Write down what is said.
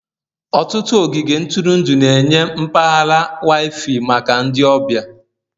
Ọtụtụ ogige ntụrụndụ na-enye mpaghara Wi-Fi maka ndị ọbịa.